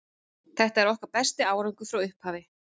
Þetta er okkar besti árangur frá upphafi.